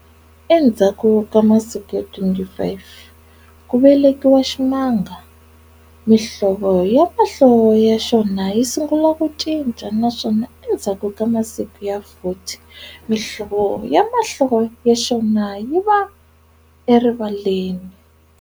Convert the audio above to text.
Endzhaku ka masiku ya 25 ku velekiwa ximanga, mihlovo ya mahlo ya xona yi sungula ku cinca, naswona endzhaku ka masiku ya 40, mihlovo ya mahlo ya xona yi va erivaleni.